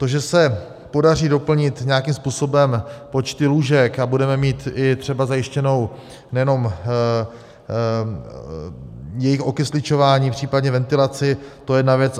To, že se podaří doplnit nějakým způsobem počty lůžek a budeme mít i třeba zajištěné nejenom jejich okysličování, případně ventilaci, to je jedna věc.